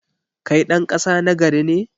Kai ɗan ƙasa nagari ne?